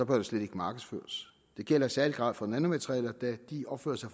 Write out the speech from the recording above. det slet ikke markedsføres det gælder i særlig grad for nanomaterialer da de opfører sig